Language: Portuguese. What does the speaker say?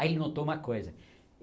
Aí ele notou uma coisa.